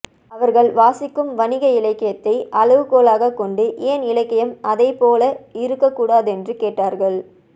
அவர்கள் வாசிக்கும் வணிக இலக்கியத்தை அளவுகோலாகக் கொண்டு ஏன் இலக்கியம் அதைப்போல இருக்கக்கூடாதென்று கேட்கிறார்கள்